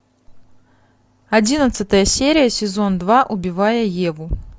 одиннадцатая серия сезон два убивая еву